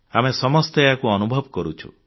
ଆମେ ସମସ୍ତେ ଏହାକୁ ଅନୁଭବ କରୁଛୁ